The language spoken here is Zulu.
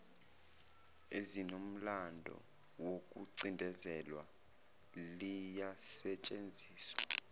ezinomlando wokucindezelwa liyasetshenziswa